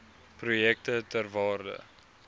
projekte ter waarde